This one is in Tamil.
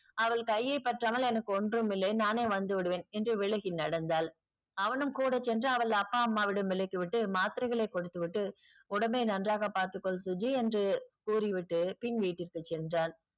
அவள் கையை பற்றாமல் எனக்கு ஒன்றும்மில்லை நானே வந்துவிடுவேன் என்று விலகி நடந்தால் அவனும் கூடச்சென்று அவள் அப்பா அம்மாவிடம் விலக்கிவிட்டு மாத்திரைகளை கொடுத்துவிட்டு உடம்பை நன்றாக பார்த்துக்கொள் சுஜி என்று கூறி விட்டு பின் வீட்டிற்கு சென்றான்.